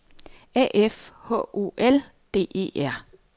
A F H O L D E R